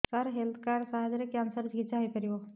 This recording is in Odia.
ସାର ହେଲ୍ଥ କାର୍ଡ ସାହାଯ୍ୟରେ କ୍ୟାନ୍ସର ର ଚିକିତ୍ସା ହେଇପାରିବ